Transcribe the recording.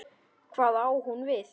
Hvað á hún við?